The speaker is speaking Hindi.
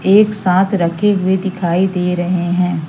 एक साथ रखे हुए दिखाई दे रहे हैं।